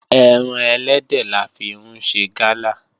Ẹran ẹlẹ́dẹ̀ la fi ń ṣe Gala